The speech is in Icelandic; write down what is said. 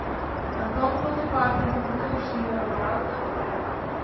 Hann kom þó til baka nokkrum dögum síðar og var ánægður með ferðina.